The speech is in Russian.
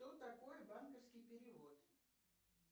что такое банковский перевод